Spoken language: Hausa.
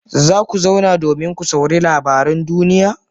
Za ku zauna domin ku saurari labaran duniya?